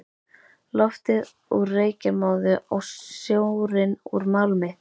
Loftið úr reykjarmóðu og sjórinn úr málmi.